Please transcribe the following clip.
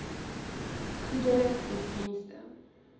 goedere of dienste